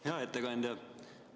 Hea ettekandja!